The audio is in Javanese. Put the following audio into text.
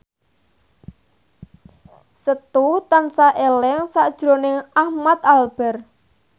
Setu tansah eling sakjroning Ahmad Albar